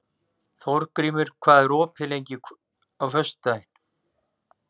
Þórgrímur, hvað er opið lengi á föstudaginn?